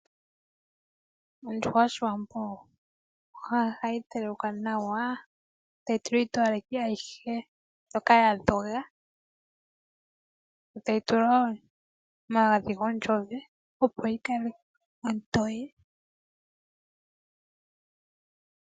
Ondjuhwa yOshiwambo ohayi telekwa nawa, tayi tulwa iitowaleki mbyoka ya dhoga yo tayi tulwa wo omagadhi gonzowe, opo yi kale ontoye.